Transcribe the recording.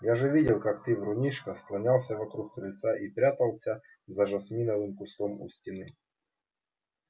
я же видел как ты врунишка слонялся вокруг крыльца и прятался за жасминовым кустом у стены